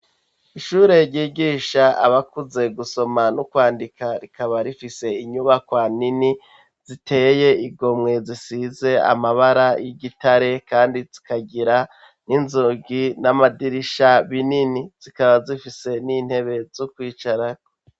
Ishure ryigisha abakuze gusoma no kwandika, rikaba rifise inyubakwa nini ziteye igomwe, zisize amabara y'igitare kandi zikagira n'inzugi n'amadirisha manini. Zikaba zifise n'intebe zo kwicarako.